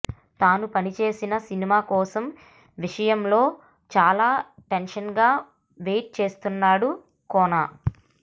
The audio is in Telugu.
తాను పనిచేసిన సినిమా కోసం విషయంలో చాలా టెన్షన్గా వెయిట్ చేస్తున్నాడు కోన